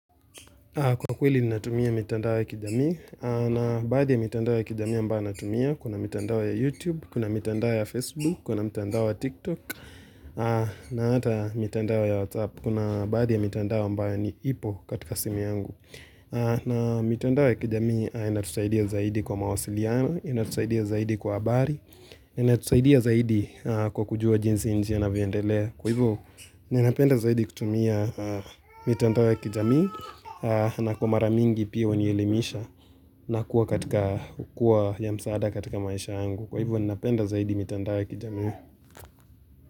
Kwa kweli ni natumia mitandao ya kijamii, na baadhi ya mitandao ya kijamii ambayo natumia, kuna mitandao ya YouTube, kuna mitandao ya Facebook, kuna mitandao ya TikTok, na hata mitandao ya WhatsApp, kuna baadhi ya mitandao ambayo ni ipo katika simu yangu. Na mitandao ya kijamii inatusaidia zaidi kwa mawasiliano, inatusaidia zaidi kwa habari, inatusaidia zaidi kwa kujua jinsi nchi inavyoendelea. Kwa hivyo, ninapenda zaidi kutumia mitandao ya kijamii na kwa mara mingi pia hunielimisha na kuwa katika ukuwa ya msaada katika maisha yangu. Kwa hivyo, ninapenda zaidi mitanda ya kijami.